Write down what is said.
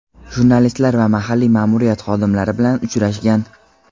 jurnalistlar va mahalliy ma’muriyat xodimlari bilan uchrashgan.